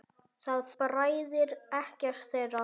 Það bræðir ekkert þeirra.